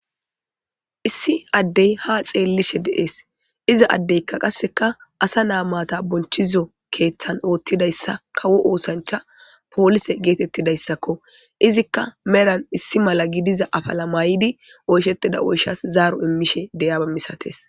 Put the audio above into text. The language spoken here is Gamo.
Issi addey haa xeellishe de'es iza addeykka qasseka asa naa maata bonchizo keeththan oottidayssa kawo oosancha poolise geetettidayssakko izikka melan issi mala gidiza afala mayidi oyshetida oyshas zaaro immishe de'iyaba misates.